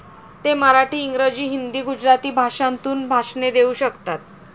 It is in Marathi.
ते मराठी, इंग्रजी, हिंदी, गुजराती भाषांतून भाषणे देऊ शकतात.